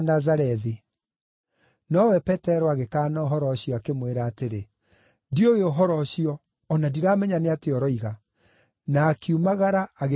Nowe Petero agĩkaana ũhoro ũcio, akĩmwĩra atĩrĩ, “Ndiũĩ ũhoro ũcio, o na ndiramenya nĩ atĩa ũroiga,” na akiumagara agĩthiĩ itoonyero-inĩ.